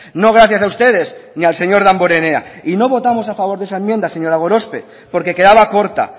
no gracias a ustedes ni al señor damborenea y no votamos a favor de esa enmienda señora gorospe porque quedaba corta